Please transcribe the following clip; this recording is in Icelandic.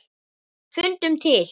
Fundum til.